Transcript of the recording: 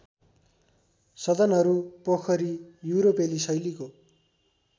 सदनहरू पोखरी युरोपेली शैलीको